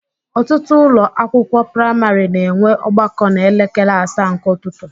Ọtụtụ ụlọ akwụkwọ praịmarị na enwe ọgbakọ na elekere asaa nke ụtụtụ